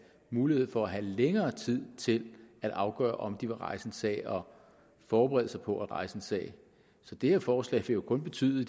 mulighed for at have længere tid til at afgøre om de vil rejse en sag og forberede sig på at rejse en sag så det her forslag vil kun betyde